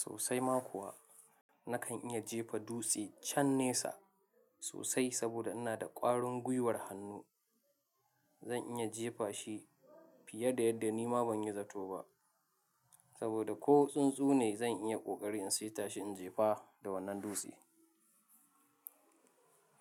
Sosa ma kuwa nakan iya jefa dutse chan nesa sosai saboda ina da ƙwarin gwiwar hannu. Zan iya jefa shi fiye da yadda nima ban yi zato ba saboda ko tsuntsune zan iya ƙoƙari in saita shi in jefa da wannan dutse.